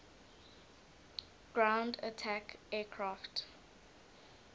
ground attack aircraft